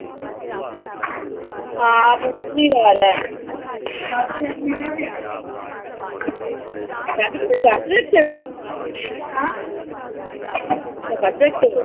ਹਾਂ ਪੰਜਵੀਂ ਵਾਰ ਆ। ਕੁੜੇ ਵਰਤ ਰੱਖਿਆ। ਤੈਂ ਵਰਤ ਰੱਖਿਆ ਵਿਆ।